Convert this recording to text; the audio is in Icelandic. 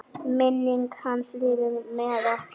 Minning hans lifir með okkur.